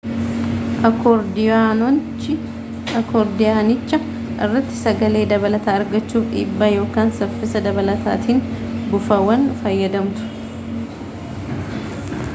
akoordiyoonicha irratti sagalee dabalataa argachuuf dhibbaa ykn saffisa dabalataatiin buufaawwan fayyadamtu